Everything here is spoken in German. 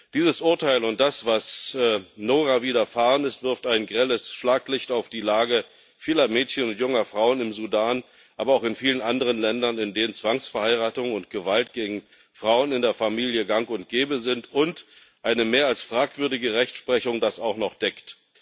Dieses Urteil und das, was Noura widerfahren ist, wirft ein grelles Schlaglicht auf die Lage vieler Mädchen und junger Frauen im Sudan, aber auch in vielen anderen Ländern, in denen Zwangsverheiratung und Gewalt gegen Frauen in der Familie gang und gäbe sind und eine mehr als fragwürdige Rechtsprechung das auch noch deckt.